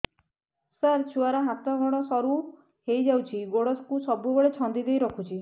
ସାର ଛୁଆର ହାତ ଗୋଡ ସରୁ ହେଇ ଯାଉଛି ଗୋଡ କୁ ସବୁବେଳେ ଛନ୍ଦିଦେଇ ରଖୁଛି